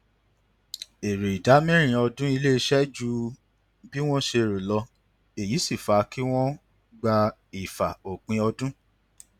èrè ìdá mẹrin ọdún iléiṣẹ ju bí wọn ṣe rò lọ èyí sì fa kí wọn gba ìfà ópin ọdún